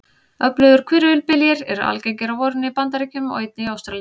Öflugir hvirfilbyljir eru algengir á vorin í Bandaríkjunum og einnig í Ástralíu.